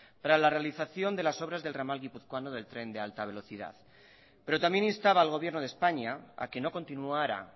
para la realización de las obras del ramal guipuzcoano del tren de alta velocidad pero también instaba al gobierno de españa a que no continuara